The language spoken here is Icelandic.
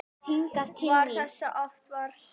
Varð þess oft vart síðan.